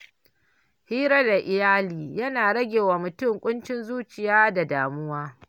Hira da iyali yana rage wa mutum ƙuncin zuciya da damuwa.